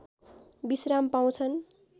विश्राम पाउँछन्